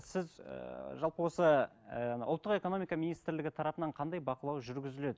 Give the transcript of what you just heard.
сіз ііі жалпы осы ііі ұлттық экономика министрлігі тарапынан қандай бақылау жүргізіледі